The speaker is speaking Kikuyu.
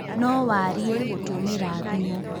No warie gũtũmĩra thimũ